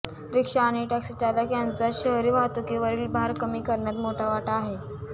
रिक्षा आणि टॅक्सीचालक यांचा शहरी वाहतुकीवरील भार कमी करण्यात मोठा वाटा आहे